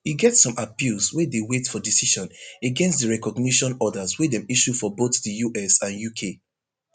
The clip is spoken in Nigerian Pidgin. e get some appeals wey dey wait for decision against di recognition orders wey dem issue for both di us and uk